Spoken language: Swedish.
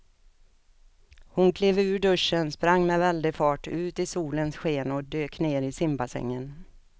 Hon klev ur duschen, sprang med väldig fart ut i solens sken och dök ner i simbassängen.